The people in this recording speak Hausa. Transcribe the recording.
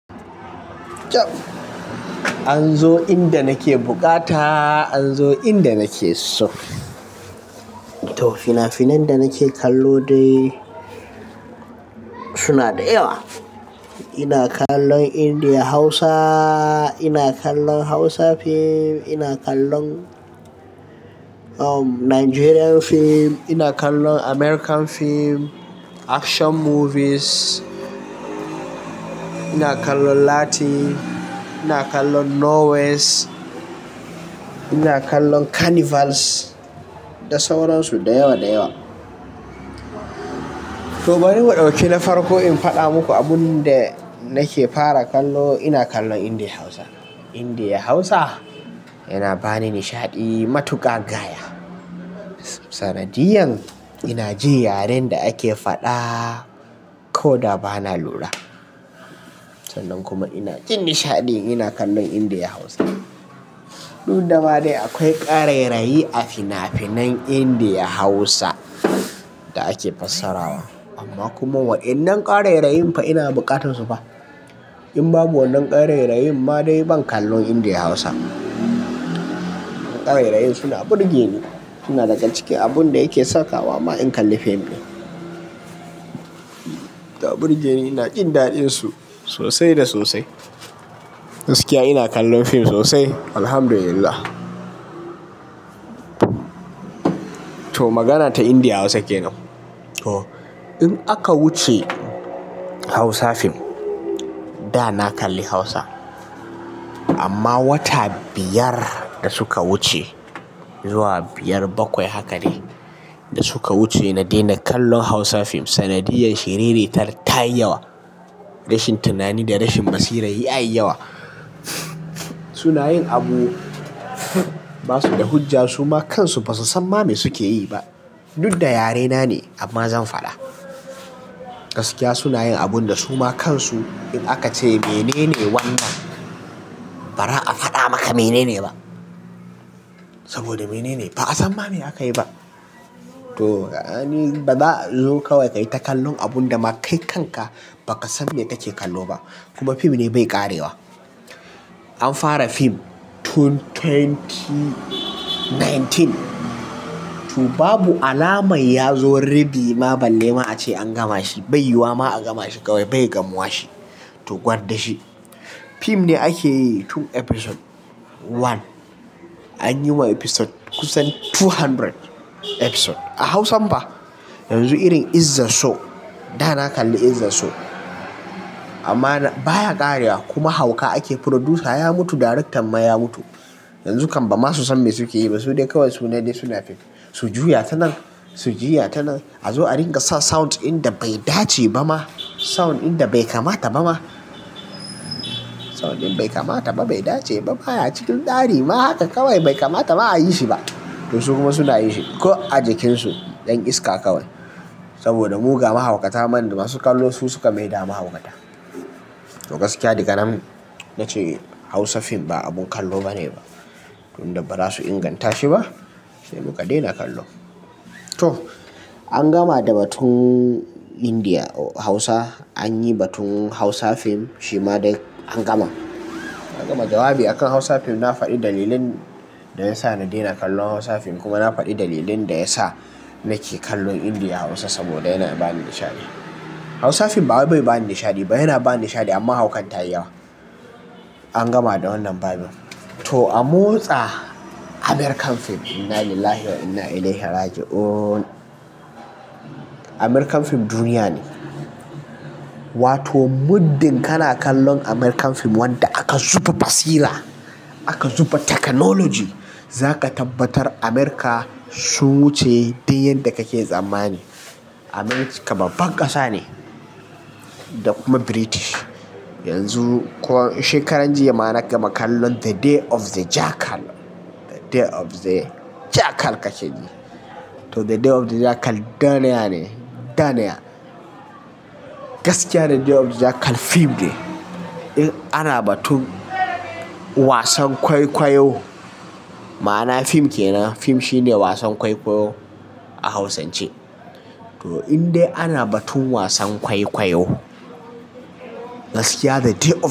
An zo inda nake bukata, an zo inda nake so. To fina-finan da nake kallo dai suna da yawa. Ina kallon Indiya Hausa, ina kallon Hausa fim, ina kallon Nigerian fim, ina kallon American fim, action movies, ina kallon Latin, ina kallon Norway, ina kallon carnivals da sauran su da yawa da yawa. To bari mu ɗauki na farko in faɗa muku abun da nake fara kallo. Ina kallon Indiya Hausa. Indiya Hausa yana bani nishaɗi matuƙa gaya. Sanadiyan, ina jin yaren da ake faɗa ko da ba na lura. Sannan kuma ina jin nishaɗin ina kallon Indiya Hausa. Dudda ma dai akwai ƙarairayi a fina-finan Indiya Hausa da ake fassarawa. Amma kuma waɗannan ƙarairayin fa ina buƙatar su fa. In babu wannan ƙarairayin ma dai ban kallon Indiya Hausa. Ƙarairayi suna burge ni, suna daga cikin abun da yake sakawa ma in kalli fim ɗin. Da burge ni, ina jin daɗin su sosai da sosai. Gaskiya ina kallon fim sosai, Alhamdulillah. To magana ta Indiya Hausa kenan. To in aka wuce Hausa fim, da na kalli Hausa. Amma wata biyar da suka wuce zuwa biyar bakwai haka ne da suka wuce, na daina kallon Hausa fim. Sanadiyan, shiriritar tayi yawa. Rashin tunani da rashin basira yayi yawa. Suna yin abu basu da hujja, suma kansu basu san me suke yi ba. Dud da yarena ne amma zan faɗa. Gaskiya suna yin abun da suma kansu in aka ce me ne wannan, ba za a faɗa maka me ne ba. Saboda me ne ne, ba a san me aka yi ba. To, ani ba za'a zo kawai ka yi ta kallon abun da ma kai kanka ba ka san me kake kallo ba. Kuma fim ne bai ƙarewa. An fara fim tun dubu biyu da sha tara. To babu alamar ya zo rabi ma balle ma ace an gama shi. Bai yi wa ma a gama shi kawai bai gamuwa shi. To gwar da shi. Fim ne ake yi tun episode one. An yi ma episode kusan two hundred episode. A Hausan fa. Yanzu irin "Izzar So." Da na kalli "is the show." Amma baya ƙarewa kuma hauka ake. Producer ya mutu, director ma ya mutu. Yanzu kan ba masu san me suke yi ba. Su dai kawai suna dai suna fim. Su juya ta nan, su juya ta nan. A zo a ringa sa sound inda bai dace ba ma. Sound inda bai kamata ba ma. Sound in bai kamata ba, bai dace ba ma, baya cikin tsari ma haka kawai bai kamata a yi shi ba. To su kuma suna yin shi ko a jakin su yan iska kawai. Saboda muga mahaukata man da masu kallo su suka maida mahaukata. To gaskiya diganan nace Hausa fim ba abun kallo bane ba. Tun da ba za su inganta shi ba, sai mu ka daina kallo. To an gama da batun Indiya Hausa. An yi batun Hausa fim shi ma dai an gama. An gama. Jawabi a kan Hausa fim. Na faɗi dalilin da ya sa na daina kallon Hausa fim kuma na faɗi dalilin da ya sa nake kallon Indiya Hausa saboda yana ba ni nishaɗi. Hausa fim ba wai bai bani nishaɗi ba. Yana ba ni nishaɗi amma haukan ta yi yawa. An gama da wannan babin. To a motsa American fim. Innalillahi wa inna ilaihi rajiun. American fim duniya ne. Wato muddin kana kallon American fim wanda aka zuba basira, aka zuba technology, za ka tabbatar America su wuce duk yadda kake tsammani. America babba ƙasa ne. Da kuma British. Yanzu shekaran jiya ma na gama kallon "The Day of the Jackal." "The Day of the Jackal" ka ce jiya. To "The Day of the Jackal" daniya ne, daniya. Gaskiya ne "The Day of the Jackal" fim ne. In ana batun wasan kwaikwayo, ma'ana fim kenan. Fim shine wasan kwaikwayo a Hausance. To in dai ana batun wasan kwaikwayo, gaskiya "The Day of.